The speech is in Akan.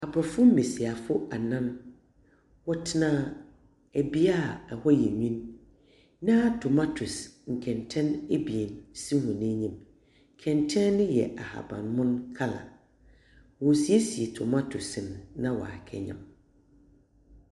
Aborɔfo mbasiafo anan, wɔtsena bea a hɔ yɛ win. Na tomatese kɛntsɛn ebien si hɔn enyim. Kɛntsɛn no yɛ ahabanmon colour. Worisiesie tomatese no na wɔakɛyam.